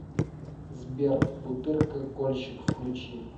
сбер бутырка кольщик включи